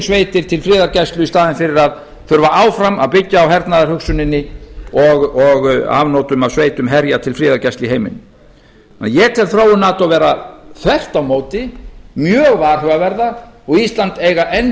sveitir til friðargæslu í staðinn fyrir að þurfa áfram að byggja á hernaðarhugsuninni og afnotum af sveitum herja til friðargæslu í heiminum þannig að ég tel þróun nato vera þvert á móti mjög varhugaverða og ísland eiga enn